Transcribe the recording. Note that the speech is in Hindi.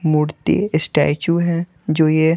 मूर्ति स्टैचू है जो ये--